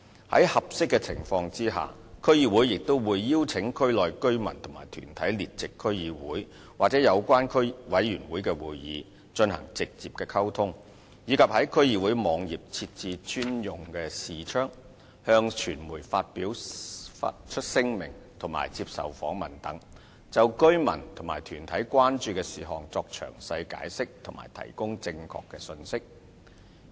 在合適的情況下，區議會也會邀請區內居民或團體列席區議會及有關委員會的會議，進行直接溝通，以及在區議會網頁設置專用視窗、向傳媒發出聲明及接受訪問等，就居民或團體關注的事項作詳細解釋及提供正確信息。